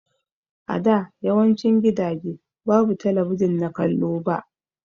A da yawancin gidaje babu talabijin na kallo ba.